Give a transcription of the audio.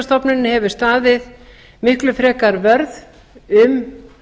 för viðskiptastofnunin hefur staðið miklu frekar vörð um